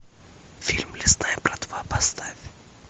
фильм лесная братва поставь